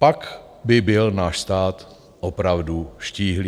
Pak by byl náš stát opravdu štíhlý.